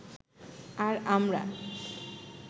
আর আমরা